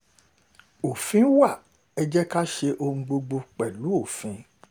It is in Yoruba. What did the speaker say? òfin wa ẹ̀ jẹ́ ká ṣe ohun gbogbo pẹ̀lú òfin